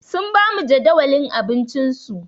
Sun ba mu jadawalin abincinsu.